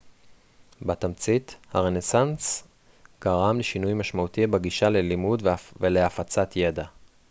בתמצית הרנסנס גרם לשינוי משמעותי בגישה ללימוד ולהפצת ידע